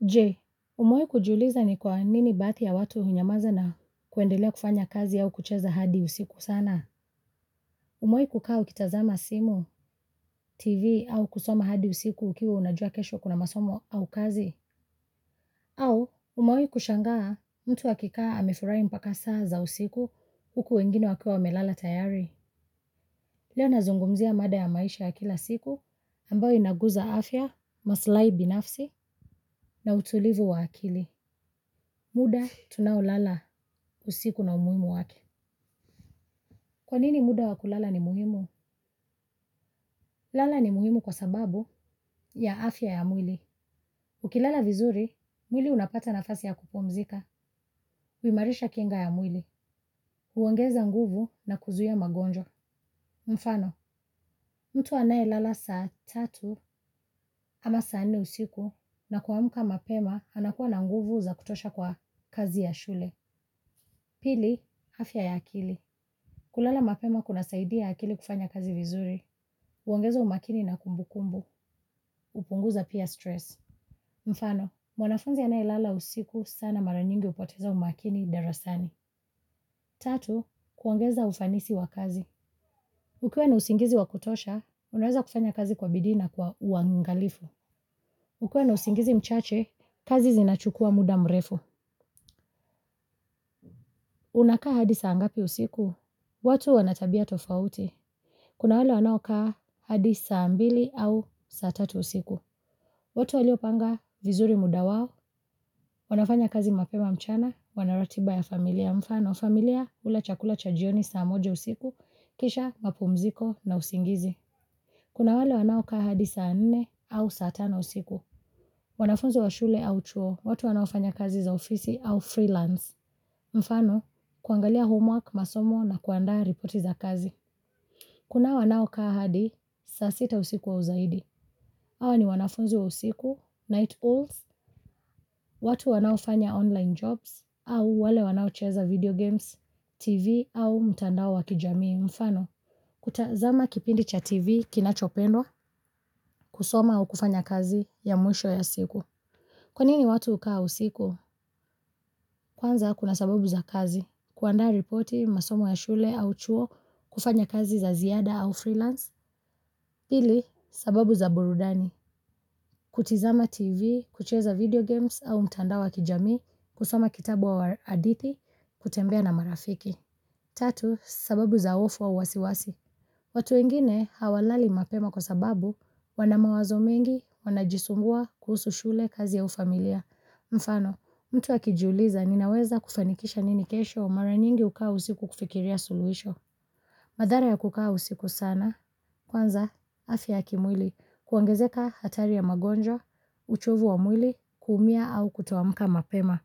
Je, umewahi kujiuliza ni kwa nini baadhi ya watu hunyamaza na kuendelea kufanya kazi au kucheza hadi usiku sana. Umewahi kukaa ukitazama simu, tv au kusoma hadi usiku ukiwa unajua kesho kuna masomo au kazi. Au, umewahi kushangaa mtu akikaa amefurahi mpaka saa za usiku huku wengine wakiwa wa melala tayari. Leo nazungumzia mada ya maisha ya kila siku ambayo inaguza afya, maslahi binafsi, na utulivu wa akili. Muda tunao lala usiku na umuhimu wake. Kwanini muda wakulala ni muhimu? Kulala ni muhimu kwa sababu ya afya ya mwili. Ukilala vizuri, mwili unapata nafasi ya kupumzika. Huimarisha kinga ya mwili. Huongeza nguvu na kuzuia magonjwa. Mfano, mtu anaye lala saa tatu ama saa nne usiku na kuamka mapema anakuwa na nguvu za kutosha kwa kazi ya shule. Pili, afya ya akili. Kulala mapema kuna saidia akili kufanya kazi vizuri, huongeza umakini na kumbu kumbu, hupunguza pia stress. Mfano, mwanafunzi anayelala usiku sana maranyingi hupoteza umakini darasani. Tatu, kuongeza ufanisi wa kazi. Ukiwa na usingizi wakutosha, unaweza kufanya kazi kwa bidiina kwa uangalifu. Ukiwa na usingizi mchache, kazi zinachukua muda mrefu. Unakaa hadisa ngapi usiku, watu wanatabia tofauti. Kuna wale wanao kaa hadi saa mbili au saa tatu usiku. Watu waliopanga vizuri mudawao, wanafanya kazi mapema mchana, wanaratibaya familia mfano, familia hula chakula chajioni saa moja usiku, kisha mapu mziko na usingizi. Kuna wale wanao kaa hadi saa nne au saatano usiku. Wanafunzi wa shule au chuo, watu wanaofanya kazi za ofisi au freelance. Mfano, kuangalia homework, masomo na kuandaa ripoti za kazi. Kuna wanao kaa hadi, saasita usiku au zaidi. Hawa ni wanafunzi wa usiku, night owls, watu wanao fanya online jobs, au wale wanao cheza video games, TV au mtandao wakijamii mfano. Kutazama kipindi cha TV kinachopendwa, kusoma au kufanya kazi ya mwisho ya siku. Kwanini watu hukaa usiku, kwanza kuna sababu za kazi. Kuandaa ripoti masomo ya shule au chuo kufanya kazi za ziada au freelance. Pili, sababu za burudani. Kutizama TV, kucheza video games au mtandao wa kijamii, kusoma kitabu au hadithi kutembea na marafiki. Tatu, sababu za hofu au wasiwasi. Watuwengine hawalali mapema kwa sababu wanamawazo mengi wanajisumbua kuhusu shule kazi au familia. Je, umewahi kujiuliza ni kwa nini baadhi ya watu hunyamaza na kwendelea kufanya kazi au kucheza hadi usiku sana. Madhara ya kukaa usiku sana, kwanza, afya ya kimwili, kuongezeka hatari ya magonjwa, uchovu wa mwili, kuumia au kutoa mkama pema.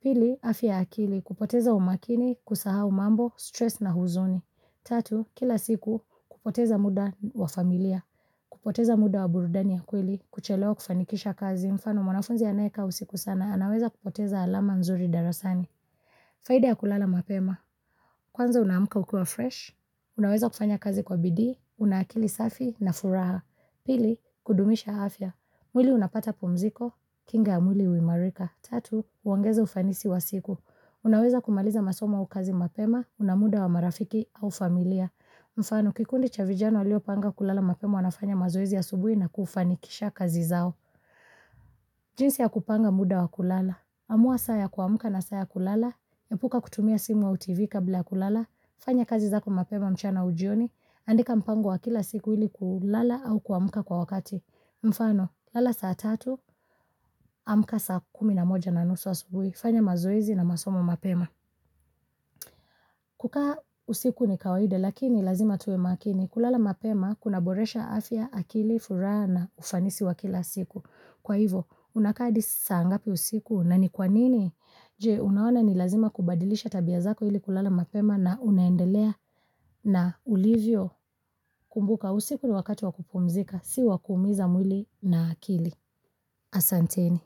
Pili, afya ya akili, kupoteza umakini, kusahau mambo, stress na huzuni. Tatu, kila siku, kupoteza muda wa familia, kupoteza muda wa burudani ya kweli, kuchelewa kufanikisha kazi. Mfano, mwanafunzi anaye ka usiku sana, anaweza kupoteza alama nzuri darasani. Faida ya kulala mapema. Kwanza unaamka ukiwa fresh, unaweza kufanya kazi kwa bidii, unaakili safi na furaha. Pili, kudumisha afya. Mwili unapata pumziko, kingaya mwili huimarika. Tatu, huongeza ufanisi wa siku. Unaweza kumaliza masomo aukazi mapema, unamuda wa marafiki au familia. Mfano, kikundi chavijana walio panga kulala mapema wanafanya mazoezi asubuhi na kufanikisha kazi zao. Jinsi ya kupanga muda wa kulala. Amua saaya kuamka na saaya kulala. Epuka kutumia simu au Tv kablaya kulala. Fanya kazi zako mapema mchana aujioni. Andika mpango wa kila siku ili kulala au kuamka kwa wakati. Mfano, lala saa tatu, amka saa kumi na moja na nusu a subuhi. Fanya mazoezi na masomo mapema. Kukaa usiku ni kawaida lakini lazima tuwe makini. Kulala mapema kuna boresha afya, akili, furaha na ufanisi wa kila siku. Kwa hivo, unakaahadi saangapi usiku na ni kwanini? Je, unaona ni lazima kubadilisha tabia zako ili kulala mapema na unaendelea na ulivyo kumbuka usiku ni wakati wakupumzika. Si wakuumiza mwili na akili. Asanteni.